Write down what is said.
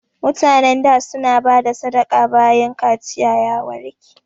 Mutanen da su na bada sadaka bayan kaciya ya warke